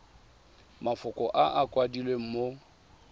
mafoko a a kwadilweng mo